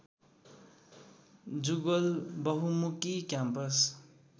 Jugal Bahumukhi campus